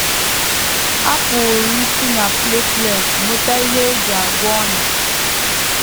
A pụrụ isi na platelet nweta ihe e ji agwọ ọnyá.